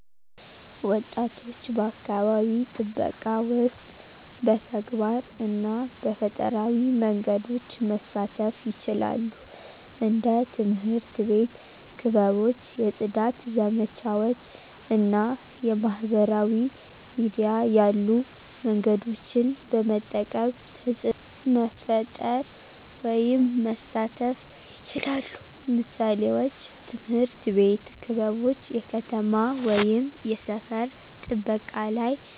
ወጣቶች በአካባቢ ጥበቃ ውስጥ በተግባር እና በፈጠራዊ መንገዶች መሳተፉ ይችላሉ። እንደ ትምህርት አቤት ክበቦች የፅዳት ዘመቻዎች እና የማህበራዊ ሚዲያ ያሉ መንገዶችን በመጠቀም ተፅዕኖ መፈጠር ወይም መሳተፍ ይችላሉ። ምሳሌዎች፦ ትምህርት ቤት ክበቦች የከተማ ወይም የሰፈር ጥበቃ ላይ